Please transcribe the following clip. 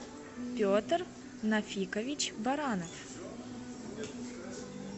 петр нафикович баранов